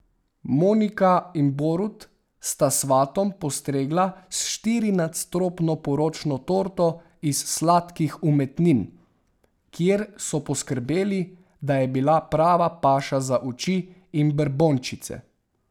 Monika in Borut sta svatom postregla s štirinadstropno poročno torto iz Sladkih umetnin, kjer so poskrbeli, da je bila prava paša za oči in brbončice.